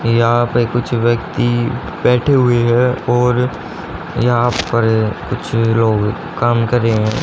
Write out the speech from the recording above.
यहा पे कुछ व्यक्ति बैठे हुए हैं और यहां पर कुछ लोग काम करे है।